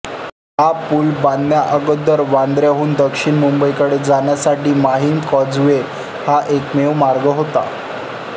हा पूल बांधण्याअगोदर वांद्र्याहून दक्षिण मुंबईकडे जाण्यासाठी माहिम कॉजवे हा एकमेव मार्ग होता